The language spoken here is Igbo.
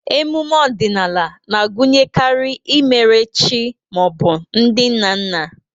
Emume ọdịnala na-agụnyekarị imere chi ma ọ bụ ndị nna nna.